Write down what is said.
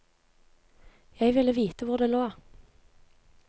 Jeg ville vite hvor det lå.